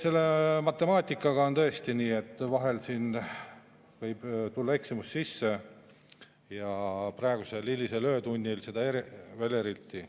Selle matemaatikaga on tõesti nii, et vahel siin võib tulla eksimus sisse, praegusel hilisel öötunnil veel eriti.